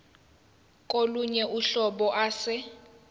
kolunye uhlobo ase